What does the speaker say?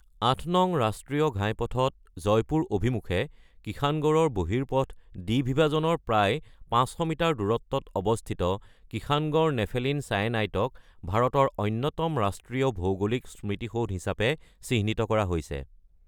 ৮ নং ৰাষ্ট্ৰীয় ঘাইপথত জয়পুৰ অভিমুখে কিষানগড়ৰ বহিৰ্পথ দ্বিবিভাজনৰ প্ৰায় ৫০০ মিটাৰ দূৰত্বত অৱস্থিত কিষানগড় নেফেলিন ছায়েনাইটক ভাৰতৰ অন্যতম ৰাষ্ট্ৰীয় ভৌগোলিক স্মৃতিসৌধ হিচাপে চিহ্নিত কৰা হৈছে।